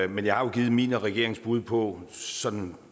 men jeg har jo givet mit og regeringens bud på sådan